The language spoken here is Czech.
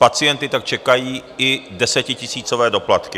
Pacienty tak čekají i desetitisícové doplatky.